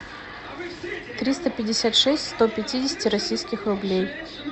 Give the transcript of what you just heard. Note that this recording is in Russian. триста пятьдесят шесть сто пятидесяти российских рублей